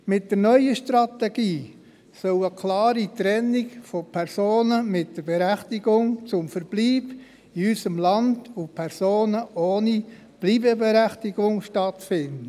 Mit der neuen Strategie soll eine klare Trennung von Personen mit der Berechtigung zum Verbleib in unserem Land und Personen ohne Bleibeberechtigung stattfinden.